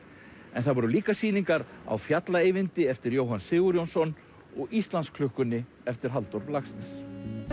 en það voru líka sýningar á fjalla Eyvindi eftir Jóhann Sigurjónsson og Íslandsklukkunni eftir Halldór Laxness